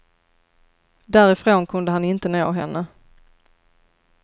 Därifrån kunde han inte nå henne.